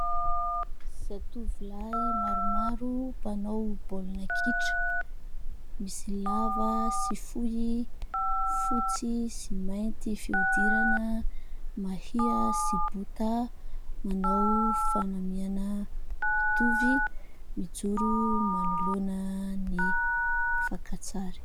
Zatovolahy maromaro mpanao baolina kitra. Misy lava sy fohy, fotsy sy mainty fihodirana, mahia sy bota. Manao fanamiana mitovy, mijoro manoloana ny fankatsary.